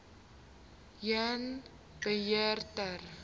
heen beheer ten